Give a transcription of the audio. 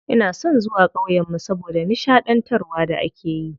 Ina son zuwa ƙauyen mu saboda nishaɗantarwar da akeyi.